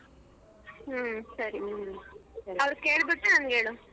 ಹ್ಮ್ ಸರಿ ಅವ್ರ ಕೆಲಬಿಟ್ಟು ನನಗೆ ಹೇಳು.